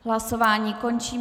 Hlasování končím.